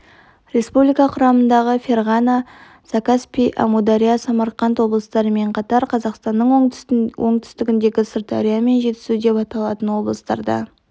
республика құрамындағы ферғана закаспий амудария самарқанд облыстарымен қатар қазақстанның оңтүстігіндегі сырдария мен жетісу деп аталған облыстарда